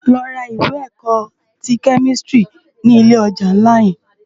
Lò rá iwè èkò ti kèmistiri ni ilé òjá nlá yèn